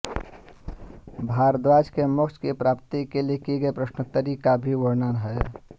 भारद्वाज के मोक्ष की प्राप्ति के लिए की गई प्रश्नोत्तरी का भी वर्णन है